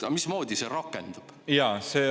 Mismoodi see rakendub?